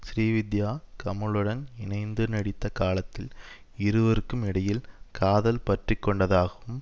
ஸ்ரீவித்யா கமலுடன் இணைந்து நடித்த காலத்தில் இருவருக்கும் இடையில் காதல் பற்றி கொண்டதாகவும்